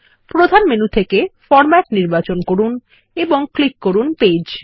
প্রধান মেনু থেকে ফরমেট নির্বাচন করুন এবং ক্লিক করুন পেজ